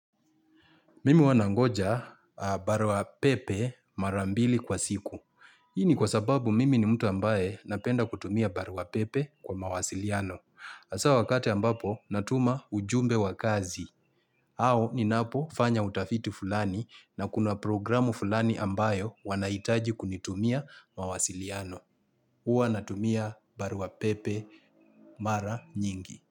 Mimi huwa nangoja barua pepe mara mbili kwa siku. Hii ni kwa sababu mimi ni mtu ambaye napenda kutumia baroa pepe kwa mawasiliano. Hasa wakati ambapo natuma ujumbe wa kazi. Au ninapo fanya utafiti fulani na kuna programu fulani ambayo wanaitaji kunitumia mawasiliano. Huwa natumia barua pepe mara nyingi.